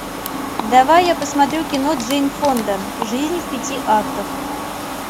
давай я посмотрю кино джейн фонда жизнь в пяти актах